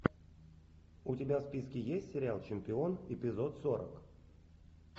у тебя в списке есть сериал чемпион эпизод сорок